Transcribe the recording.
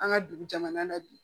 An ka dugu jamana na bi